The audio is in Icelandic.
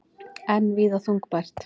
Enn víða þungfært